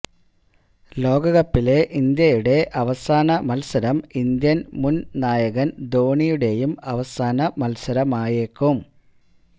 ലോകകപ്പിലെ ഇന്ത്യയുടെ അവസാന മത്സരം ഇന്ത്യന് മുന് നായകന് ധോനിയുടേയും അവസാന മത്സരമായേക്കും